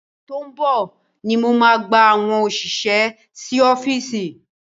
Ọ̀sẹ̀ tó ń bọ̀ ni mo máa gba àwọn òṣìṣẹ́ sí ọ́fíìsì yìí.